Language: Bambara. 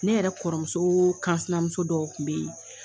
Ne yɛrɛ kɔrɔmuso kansimuso dɔw kun be yen